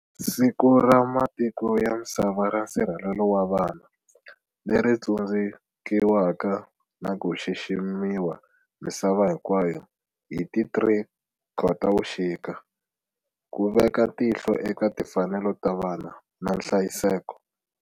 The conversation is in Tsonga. Siku ra Matiko ya Misava ra Nsirhelelo wa Vana, leri tsundzukiwaka na ku xiximiwa misava hinkwayo hi ti 03 Khotavuxika, ku veka tihlo eka timfanelo ta vana na nhlayiseko.